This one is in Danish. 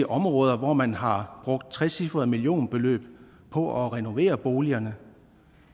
områder hvor man har brugt trecifrede millionbeløb på at renovere boligerne